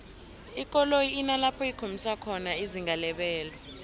ikoloyi inalapho ikhombisa khona izinga lebelo